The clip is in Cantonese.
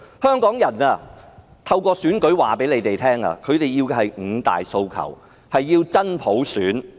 香港人透過選舉告訴他們，香港人要的是五大訴求，要真普選......